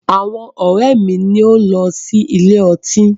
Àwọn ọ̀rẹ́ mi ni ó ń sí ilé ọtí.